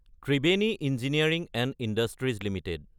Triveni engineering and industries Ltd